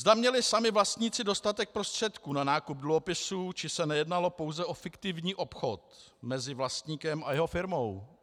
Zda měli sami vlastníci dostatek prostředků na nákup dluhopisů, či si nejednalo pouze o fiktivní obchod mezi vlastníkem a jeho firmou?